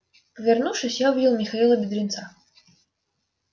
повернувшись я увидел михаила бедренца